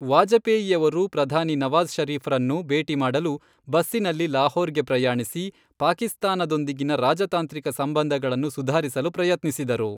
ವಾಜಪೇಯಿಯವರು ಪ್ರಧಾನಿ ನವಾಜ಼್ ಶರೀಫ್ರನ್ನು ಭೇಟಿ ಮಾಡಲು ಬಸ್ಸಿನಲ್ಲಿ ಲಾಹೋರ್ಗೆ ಪ್ರಯಾಣಿಸಿ, ಪಾಕಿಸ್ತಾನದೊಂದಿಗಿನ ರಾಜತಾಂತ್ರಿಕ ಸಂಬಂಧಗಳನ್ನು ಸುಧಾರಿಸಲು ಪ್ರಯತ್ನಿಸಿದರು.